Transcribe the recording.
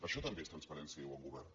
això també és transparència i bon govern